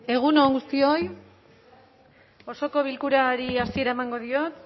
egun on guztioi osoko bilkurari hasiera emango diot